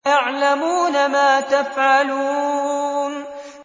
يَعْلَمُونَ مَا تَفْعَلُونَ